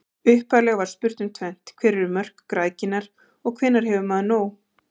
Upphaflega var spurt um tvennt: Hver eru mörk græðginnar, hvenær hefur maður nóg?